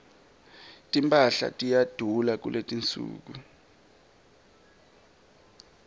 timphahla tiyadula kuletinsuku